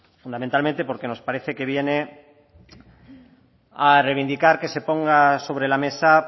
fundamentalmente porque nos parece que viene a reivindicar que se ponga sobre la mesa